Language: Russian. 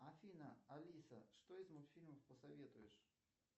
афина алиса что из мультфильмов посоветуешь